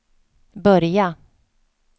börja